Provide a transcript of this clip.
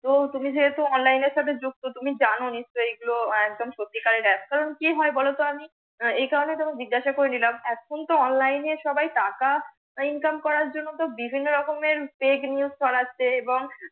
তো তুমি যেহেতু online এর সাথে যুক্ত তুমি জান নিশ্চয় এগুলো আহ একদম সত্যিকরে APPS কারণ কি হয় বলতো আমি একারনে জিজ্ঞাসা করে নিলাম একদম তো সবাই অনলাইনে টাকা INCOME করার জন্য তো বিভিন্ন রকমের FAKE নিউজ ছড়াচ্ছে।